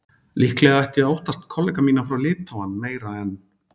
Líklega ætti ég að óttast kollega mína frá Litháen meira en